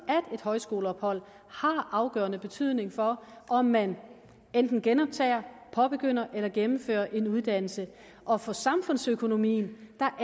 at et højskoleophold har afgørende betydning for om man enten genoptager påbegynder eller gennemfører en uddannelse og for samfundsøkonomien